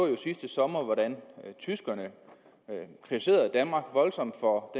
jo sidste sommer hvordan tyskerne kritiserede danmark voldsomt for